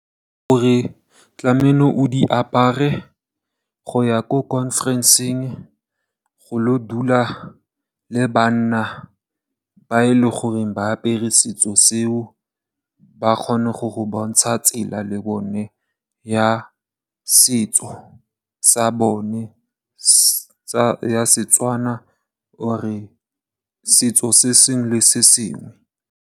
Gore tlamelo o di apare go ya ko khonferenseng go lo dula le banna ba leng gore ba apere setso seo ba kgone go go bontsha tsela le bone ya setso sa bone ya Setswana or setso se sengwe le sengwe.